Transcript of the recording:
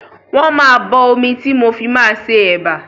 Wọ́n máa bọ omi tí mo fi máa ṣe ẹ̀bà.